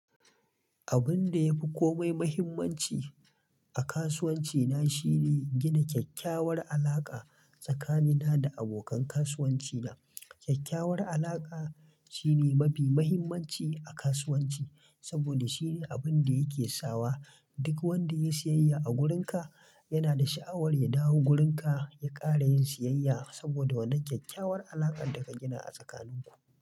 Abun da yafi komai muhimmanci a kasuwanci na shine gina kyakkyawar alaƙa tsakanina da abokan kasuwanci na. Kyakkyawar alaƙa shine mafi mahimmanci a kasuwanci saboda shine abun da yake sawa duk wanda ya yi siyayya a wurinka yana da sha'awar ya dawo gurinka ya ƙara yin siyayya saboda wannan kyakkyawar alaƙar da ka gina a tsakanin ku.